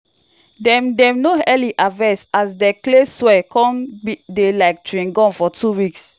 dem dem no early harvest as de clay soil con dey like chewing gum for two weeks.